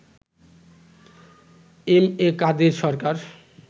M A Kader Sarkar